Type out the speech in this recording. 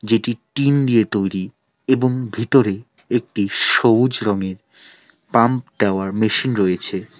যেটি টিন দিয়ে তৈরি এবং ভিতরে একটি সবুজ রঙের পাম্প দেওয়ার মেশিন রয়েছে।